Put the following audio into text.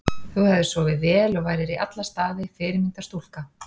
Þú hefðir sofið vel og værir í alla staði fyrirmyndar stúlka.